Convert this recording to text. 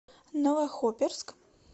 новохоперск